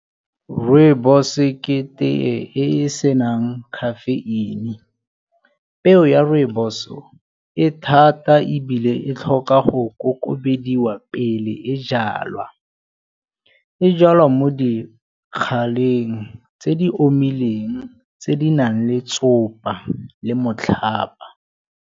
Rooibos e ke tee e senang caffeine. Peo ya rooibos-o e thata ebile e tlhoka go kokobediwa pele e jalwa. E jalwa mo dikganyeng tse di omileng tse di nang le tsopa le motlhaba.